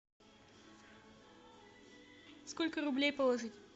сколько рублей положить